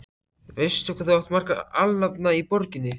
Veistu, hvað þú átt marga alnafna í borginni?